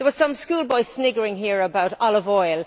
There was some schoolboy sniggering here about olive oil.